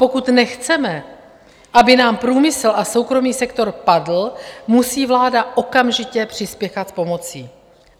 Pokud nechceme, aby nám průmysl a soukromý sektor padly, musí vláda okamžitě přispěchat s pomocí.